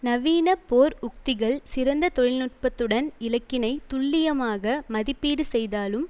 நவீன போர் உத்திகள் சிறந்த தொழில் நுட்பத்துடன் இலக்கினை துல்லியமாக மதிப்பீடு செய்தாலும்